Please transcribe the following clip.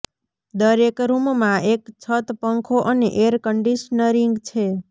દરેક રૂમમાં એક છત પંખો અને એર કન્ડીશનીંગ છે